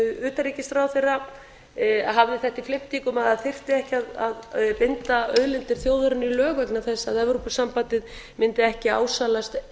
utanríkisráðherra hafði þetta í flimtingum að það þyrfti ekki að binda auðlindir þjóðarinnar í lög vegna þess að evrópusambandið mundi ekki ásælast